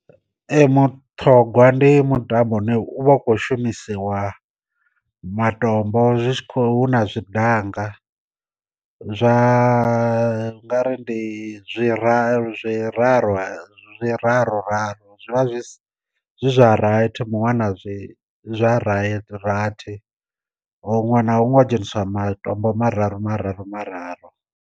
Ee muṱhogwa ndi mutambo une u vha u kho shumisiwa ma tombo zwi tshi khou na zwi danga, zwa nga ri ndi zwi ra zwi raru zwiraru zwi vha zwi si zwa rathi muṅwe ana zwi zwa rathi huṅwe na huṅwe ho dzheniswa matombo mararu mararu mararu.